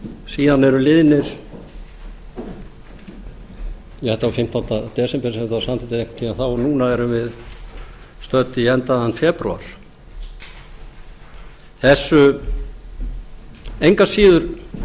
síðan eru liðnir þetta var fimmtánda desember sem þetta var samþykkt eða einhvern tíma þá en núna erum við stödd í enduðum febrúar engu að síður